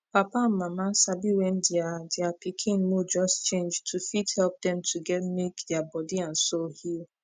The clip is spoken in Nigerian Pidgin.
papa and mama sabi wen dia dia pikin mood just change to fit help dem to get make dia body and soul heal